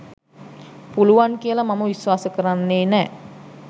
පුළුවන් කියල මම විශ්වාස කරන්නේ නෑ